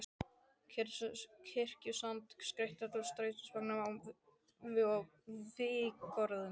Kirkjusand og skreytt alla strætisvagnana vígorðum.